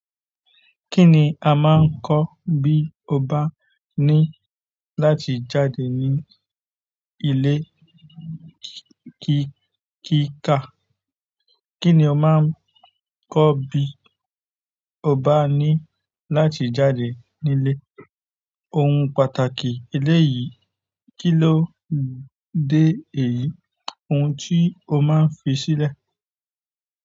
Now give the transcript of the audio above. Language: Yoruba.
Kí ni a máa ń kọ́ bí o bá ní láti jáde ní ilé kíkà? Kí ni a máa ń kọ́ bí o bá ní láti jáde nílé? Oun pàtàkì eléyi kí ló dé èyí. Ohun tí o máa ń fi sílẹ̀.